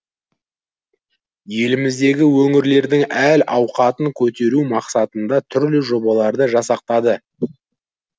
еліміздегі өңірлердің әл ахуатын көтеру мақсатында түрлі жобаларды жасақтады